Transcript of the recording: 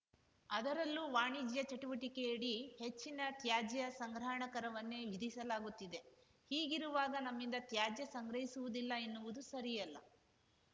ಅದರಲ್ಲೂ ವಾಣಿಜ್ಯ ಚಟುವಟಿಕೆಯಡಿ ಹೆಚ್ಚಿನ ತ್ಯಾಜ್ಯ ಸಂಗ್ರಹಣಾ ಕರವನ್ನೇ ವಿಧಿಸಲಾಗುತ್ತಿದೆ ಹೀಗಿರುವಾಗ ನಮ್ಮಿಂದ ತ್ಯಾಜ್ಯ ಸಂಗ್ರಹಿಸುವುದಿಲ್ಲ ಎನ್ನುವುದು ಸರಿಯಲ್ಲ